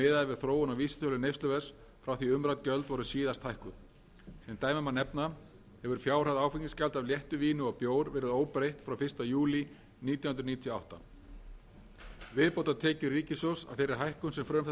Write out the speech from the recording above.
þróun á vísitölu neysluverðs frá því umrædd gjöld voru síðast hækkuð sem dæmi má nefna hefur fjárhæð áfengisgjalds af léttu víni og bjór verið óbreytt frá fyrsta júlí nítján hundruð níutíu og átta viðbótartekjur ríkissjóðs af þeirri hækkun sem frumvarp þetta kveður